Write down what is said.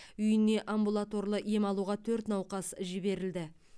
үйіне амбулаторлы ем алуға төрт науқас жіберілді